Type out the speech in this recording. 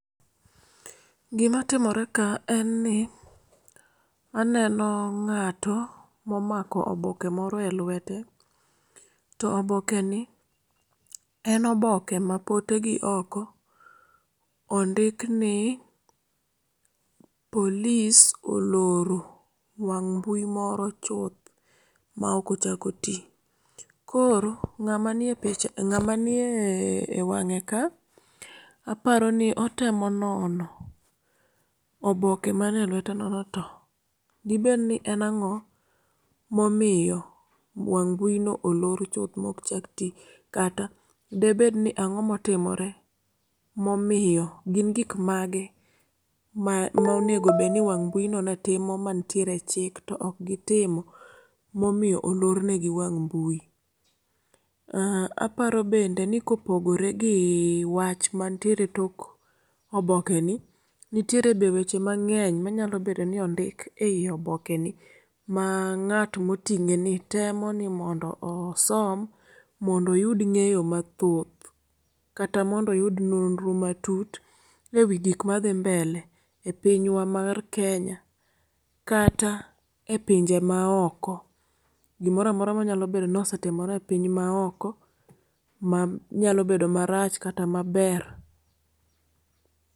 Gima timore ka en ni aneno ng'ato momako oboke moro elwete to e obokeni en oboke matoke gioko ondik ni polis oloro wang' mbui moro chuth maok ochak oti. Koro ng'ama nie ng'ama niewang'e ka aparo ni otemo nono oboke man e lweteno ni to debed ni en ang'o momiyo wang' mbuino olor chuth maok chak ti kata debed ni ang'o motimore momiyo, gin gik mage mane obedo ni wang' mbuino ne timo mantiere e c hik to ok gitimo ema omiyo olor negi wang' mbui. Ah aparo bende nikopogore gi wach mantiere e tok obokegi, nitiere bende weche mang'eny manyalo bedo ni ondik ei obokeni ma ng'at moting'eni temo ni mondo osom mondo oyud ng'eyo mathoth kata mondo oyud nonro matut ewi gik madhi mbele epinywa mar Kenya kata e pinje maoko gimoro amora manyalo bedo ni osetimore e piny maoko manyalo bedo marach kata maber.